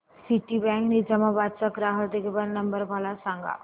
Citibank Nizamabad चा ग्राहक देखभाल नंबर मला सांगा